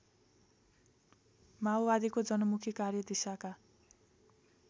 माओवादीको जनमुखी कार्यदिशाका